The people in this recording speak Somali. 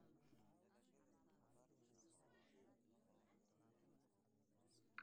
Bulshada rer ayaa hadda qiimo badan siinaysa waxbarashada gabdhaha.